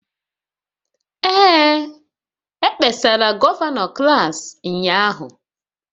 Ee, e kpesara gọvanọ klas ụnyahụ.